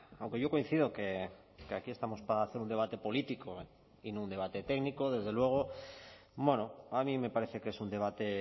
aunque yo coincido que aquí estamos para hacer un debate político y no un debate técnico desde luego a mí me parece que es un debate